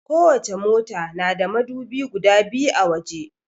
Kowace mota na da madubi guda biyu a waje.